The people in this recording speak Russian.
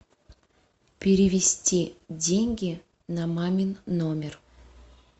перевести деньги на мамин номер